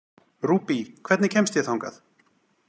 Rúbý, hvernig kemst ég þangað?